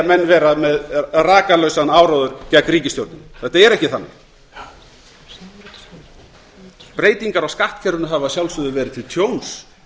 menn vera með rakalausan áróður gegn ríkisstjórninni þetta er ekki þannig breytingar á skattkerfinu hafa að sjálfsögðu verið til tjóns